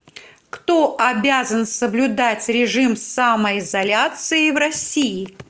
кто обязан соблюдать режим самоизоляции в россии